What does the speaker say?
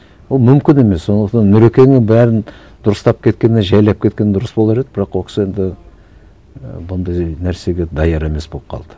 ол мүмкін емес сондықтан нұрекеңнің бәрін дұрыстап кеткені жайлап кеткені дұрыс болар еді бірақ ол кісі енді і бұндай нәрсеге даяр емес болып қалды